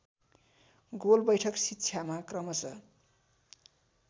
गोलबैठक शिक्षामा क्रमश